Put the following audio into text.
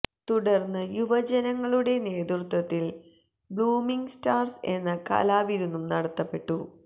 തുടർന്ന് യൂവജനങ്ങളുടെ നേത്രത്വത്തിൽ ബ്ളൂമിങ് സ്റ്റാർസ് എന്ന കലാവിരുന്നും നടത്തപ്പെട്ടു